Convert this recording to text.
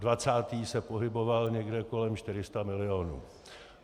Dvacátý se pohyboval někde kolem 400 milionů.